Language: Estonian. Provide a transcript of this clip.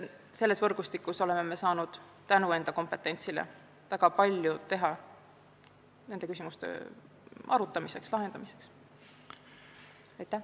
Selles võrgustikus oleme saanud tänu enda kompetentsile väga palju nende arutelude õnnestumiseks ära teha.